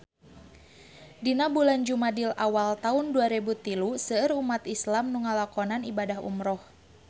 Dina bulan Jumadil awal taun dua rebu tilu seueur umat islam nu ngalakonan ibadah umrah